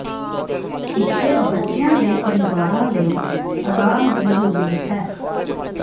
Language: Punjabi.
ਇੱਥੇ ਬੱਚਿਆਂ ਦੇ ਪਰਿਵਾਰਾਂ ਲਈ ਆਰਾਮ ਦੀ ਜ਼ਰੂਰਤ ਹੈ